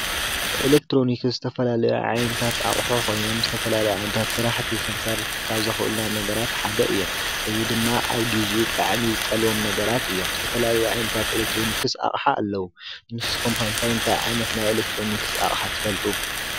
ኤሌክትሮኒክስ ዝተፈላለዩ ዓይነታት ኣቕሑ ኮይኖም ዝተፈላለዩ ዓይነታት ስራሕቲ ክንሰርሕ ካብ ዘክእሉና ነገራት ሓደ እዮም። እዚ ድማ ኣብ ግዚኡ ብጣዕሚ ዝጠልቦም ነገራት እዮም። ዝተፈላለዩ ዓይነታት ኤሌክትሮኒክስ ኣቕሓ ኣለዉ። ንስኹም ከ እንታይ እንታይ ዓይነት ናይ ኤሌትሮኒክስ ኣቕሓ ትፈልጡ?